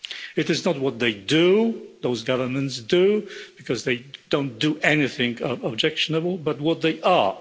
It is not what those governments do, because they don't do anything objectionable, but what they are.